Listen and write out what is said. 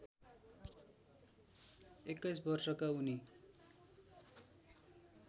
२१ वर्षका उनी